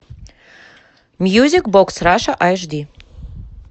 мьюзик бокс раша ашди